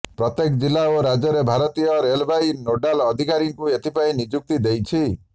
ପ୍ରତ୍ୟେକ ଜିଲ୍ଲା ଓ ରାଜ୍ୟରେ ଭାରତୀୟ ରେଳବାଇ ନୋଡାଲ ଅଧିକାରୀଙ୍କୁ ଏଥିପାଇଁ ନିଯୁକ୍ତି ଦେଇଛି